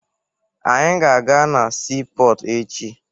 Anyị ga-aga na siipọọtụ echi